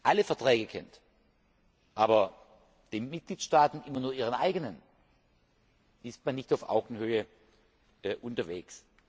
alle Verträge kennen, aber die Mitgliedstaaten immer nur ihren eigenen, ist man nicht auf Augenhöhe unterwegs.